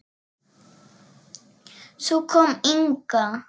Svo kom Inga.